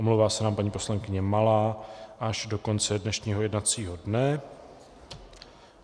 Omlouvá se nám paní poslankyně Malá až do konce dnešního jednacího dne.